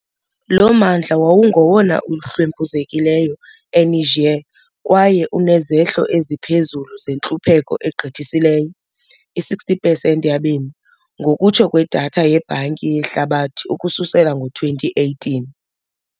Lo mmandla wawungowona uhlwempuzekileyo eNiger kwaye unezehlo eziphezulu zentlupheko egqithisileyo, i-60 pesenti yabemi, ngokutsho kwedatha yeBhanki yehlabathi ukususela ngo-2018.